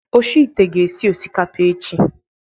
Oshi ite ga-esi osikapa echi